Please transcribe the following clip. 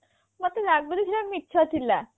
ମତେ ଲାଗୁଥିଲା ମିଛ ଥିଲା